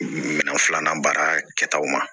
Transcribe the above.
Minɛn fila baara kɛtaw ma